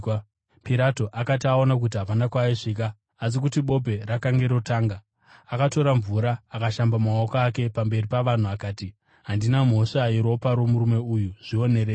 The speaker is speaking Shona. Pirato akati aona kuti hapana kwaaisvika, asi kuti bope rakanga rotanga, akatora mvura akashamba maoko ake pamberi pavanhu akati, “Handina mhosva yeropa romunhu uyu. Zvionerei.”